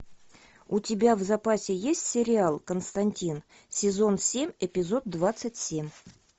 у тебя в запасе есть сериал константин сезон семь эпизод двадцать семь